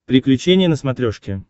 приключения на смотрешке